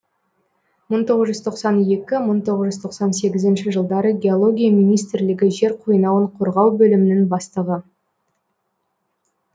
мың тоғыз жүз тоқсан екі мың тоғыз жүз тоқсан сегізінші жылдары геология министрлігі жер қойнауын қорғау бөлімінің бастығы